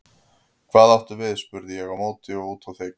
Hvað áttu við spurði ég á móti og úti á þekju.